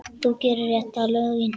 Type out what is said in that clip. Þú gerir réttu lögin.